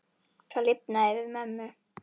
Það lifnaði yfir mömmu.